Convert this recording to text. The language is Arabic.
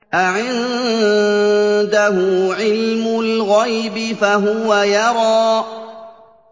أَعِندَهُ عِلْمُ الْغَيْبِ فَهُوَ يَرَىٰ